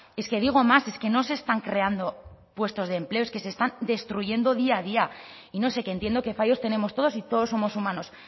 es que digo más es que no se están creando puestos de empleo es que se están destruyendo día a día y no sé que entiendo que fallos tenemos todos y todos somos humanos